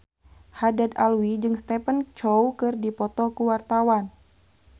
Haddad Alwi jeung Stephen Chow keur dipoto ku wartawan